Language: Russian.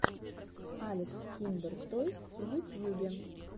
алекс киндертойс в ютьюбе